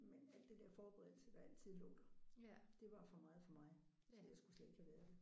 Men alt det der forberedelse der altid lå der. Det var for meget for mig. Så jeg skulle slet ikke have været det